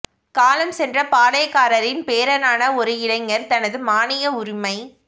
காலம் சென்ற பாளையக்காரரின் பேரனான ஒரு இளைஞர் தனது மானிய உரிமை